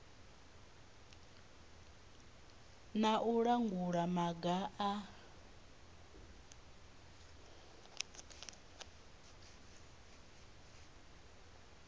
na u langula maga a